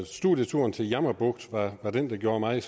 studieturen til jammerbugt var den der gjorde mig